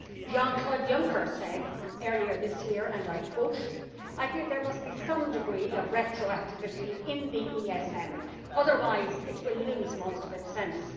Jean Claude Juncker said earlier this year I think there must be some degree of retroactivity' in the ESM, otherwise it will lose most of its sense'.